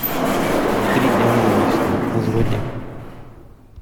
три дня на убийство заводи